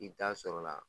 I bi taa sɔrɔ la